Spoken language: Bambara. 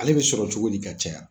Ale bi sɔrɔ cogo di ka caya ?